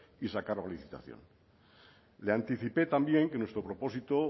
y sacarlo a licitación le anticipé también que nuestro propósito